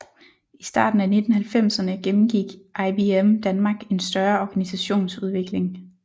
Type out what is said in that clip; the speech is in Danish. I starten af 1990erne gennemgik IBM Danmark en større organisationsudvikling